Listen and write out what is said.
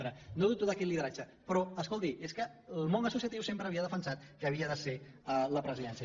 pre no dubto d’aquest lideratge però escolti és que el món associatiu sempre havia defensat que havia de ser a la presidència